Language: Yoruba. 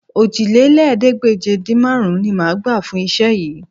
Òjìlélẹ́ẹ̀ẹ́dégbèje-dín-márùn-ún ni máa gbà fún iṣẹ́ yìí